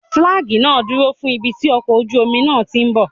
Fílágì náà dúró fún ibi tí ọkọ̀ ojú omi náà tíì bọ̀.